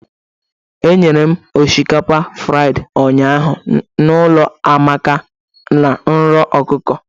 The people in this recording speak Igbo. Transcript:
Etere m osikapa fridi ụnyaahụ n'ụlọ Amaka na nro ọkụkọ.